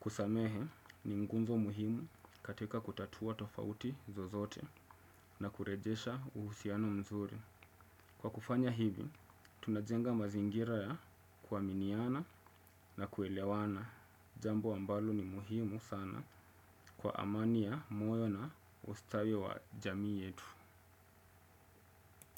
kusamehe ni ngunzo muhimu katika kutatua tofauti zozote na kurejesha uhusiano mzuri. Kwa kufanya hivi, tunajenga mazingira ya kuaminiana na kuelewana. Jambo ambalo ni muhimu sana kwa amani ya moyo na ustawi wa jamii yetu.